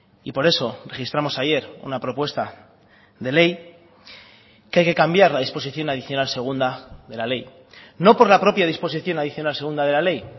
y por eso registramos ayer una propuesta de ley que hay que cambiar la disposición adicional segunda de la ley no por la propia disposición adicional segunda de la ley